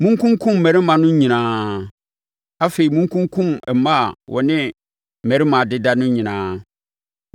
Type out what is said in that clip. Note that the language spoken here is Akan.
Monkunkum mmarimaa no nyinaa. Afei, monkunkum mmaa a wɔne mmarima adeda no nyinaa.